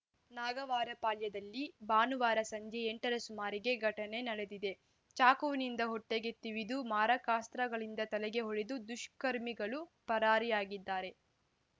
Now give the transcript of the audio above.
ನಾಗವಾರಪಾಳ್ಯದಲ್ಲಿ ಭಾನುವಾರ ಸಂಜೆ ಎಂಟ ರ ಸುಮಾರಿಗೆ ಘಟನೆ ನಡೆದಿದೆ ಚಾಕುವಿನಿಂದ ಹೊಟ್ಟೆಗೆ ತಿವಿದು ಮಾರಕಾಸ್ತ್ರಗಳಿಂದ ತಲೆಗೆ ಹೊಡೆದು ದುಷ್ಕರ್ಮಿಗಳು ಪರಾರಿಯಾಗಿದ್ದಾರೆ